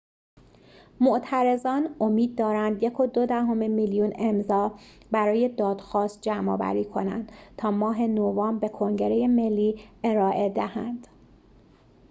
معترضان امید دارند ۱.۲ میلیون امضا برای دادخواست جمع‌آوری کنند تا ماه نوامبر به کنگره ملی ارائه دهند